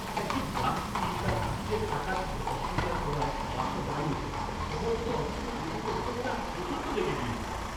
একজন যাত্রী তার টিকিটের টাকা দিতে অস্বীকার করায় বাসটা দাঁড়িয়ে পড়ে। সময়মতো অফিসে পৌঁছতে হতো বলে আমি প্রচণ্ড রেগে গেছিলাম।